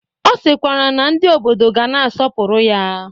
Ọ sịkwara na ndị obodo ga na-asọpụrụ ya.